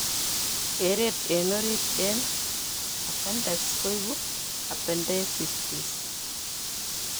Kereet eng' orit eng' appendix koibu appendicitis